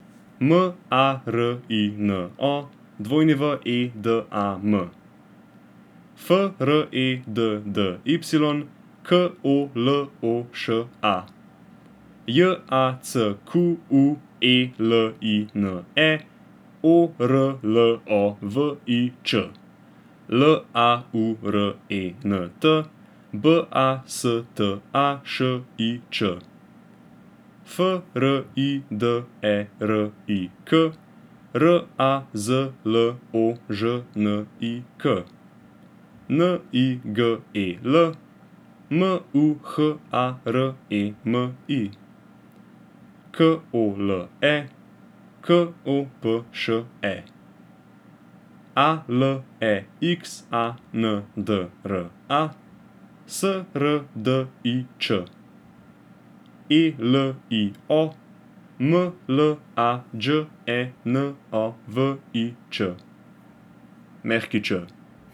M A R I N O, W E D A M; F R E D D Y, K O L O Š A; J A C Q U E L I N E, O R L O V I Č; L A U R E N T, B A S T A Š I Č; F R I D E R I K, R A Z L O Ž N I K; N I G E L, M U H A R E M I; K O L E, K O P Š E; A L E X A N D R A, S R D I Č; E L I O, M L A Đ E N O V I Č Ć.